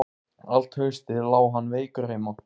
Allt haustið lá hann veikur heima.